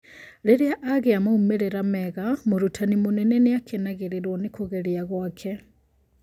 Rĩrĩa agia maumĩrĩra mega, mũrutani mũnene nĩakenagĩrĩrwo nĩ kũgeria gwake